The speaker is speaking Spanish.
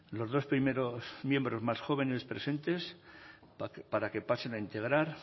los dos primeros miembros más jóvenes presentes para que pasen a integrar